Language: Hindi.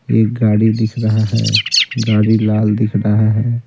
एक गाड़ी दिख रहा है गाड़ी लाल दिख रहा है।